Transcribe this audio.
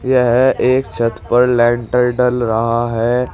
यह एक छत पर लेंटर डल रहा है।